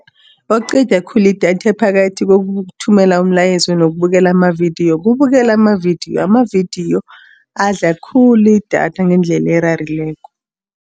Okuqeda khulu idatha phakathi kokuthumelana umlayezo nokubukela amavidiyo, kubukela amavidiyo. Amavidiyo adla khulu idatha ngendlela erarileko.